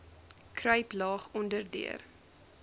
kruip laag onderdeur